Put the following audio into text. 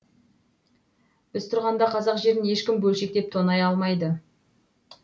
біз тұрғанда қазақ жерін ешкім бөлшектеп тонай алмайды